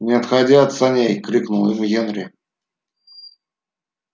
не отходи от саней крикнул ему генри